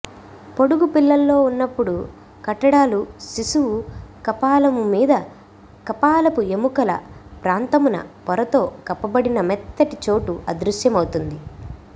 పొడుగు పిల్లల్లో ఉన్నప్పుడు కట్టడాలు శిశువు కపాలముమీద కపాలపు ఎముకల ప్రాంతమున పొరతో కప్పబడిన మెత్తటి చోటు అదృశ్యమవుతుంది